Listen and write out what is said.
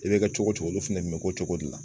I bɛ ka cogo o cogo olu fana tun bɛ k'o cogo de la.